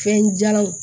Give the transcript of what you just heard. Fɛn jalanw